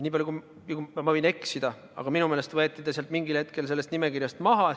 Ma võin eksida, aga minu meelest võeti ta mingil hetkel sellest nimekirjast maha.